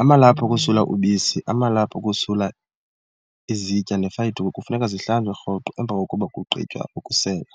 Amalaphu okusula ubisi, amalaphu okusula izitya neefayidukhwe kufuneka zihlanjwe roqo emva kokuba kugqhitywa ukusenga,